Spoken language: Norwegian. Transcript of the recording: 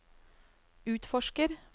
utforsker